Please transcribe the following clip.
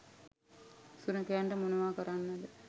සුනඛයන්ට මොනව කරන්නද